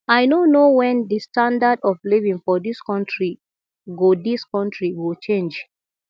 i no know wen the standard of living for dis country go dis country go change